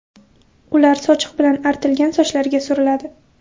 Ular sochiq bilan artilgan sochlarga suriladi.